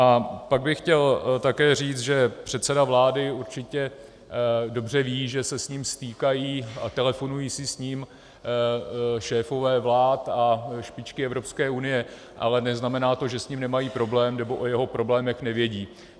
A pak bych chtěl také říct, že předseda vlády určitě dobře ví, že se s ním stýkají a telefonují si s ním šéfové vlád a špičky Evropské unie, ale neznamená to, že s ním nemají problém nebo o jeho problémech nevědí.